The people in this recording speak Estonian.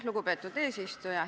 Lugupeetud eesistuja!